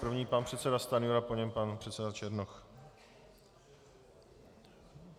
První pan předseda Stanjura, po něm pan předseda Černoch.